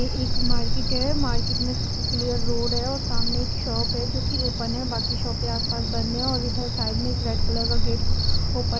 ये एक मार्केट है मार्केट में क्लियर रोड है और सामने एक शॉप है जो कि ओपन है बाकी शॉपें आस पास बंद है और इधर साइड में एक रेड कलर का गेट ओपन --